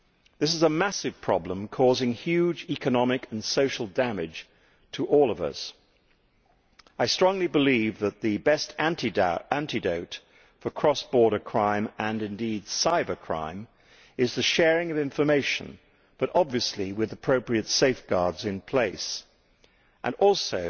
This is a massive problem, causing huge economic and social damage to all of us. I strongly believe that the best antidote to cross border crime, and indeed cybercrime, is the sharing of information, but obviously with appropriate safeguards in place and also